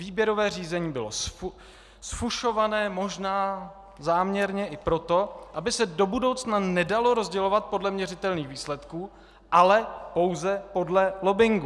Výběrové řízení bylo zfušované možná záměrně i proto, aby se do budoucna nedalo rozdělovat podle měřitelných výsledků, ale pouze podle lobbingu.